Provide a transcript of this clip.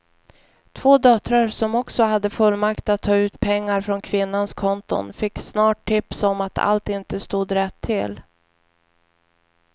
Två döttrar som också hade fullmakt att ta ut pengar från kvinnans konton fick snart tips om att allt inte stod rätt till.